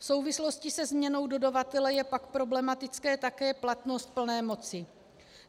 V souvislosti se změnou dodavatele je pak problematická také platnost plné moci.